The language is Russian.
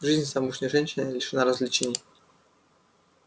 жизнь замужней женщины лишена развлечений